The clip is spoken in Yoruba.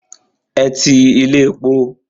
Ẹ ti ilé epo.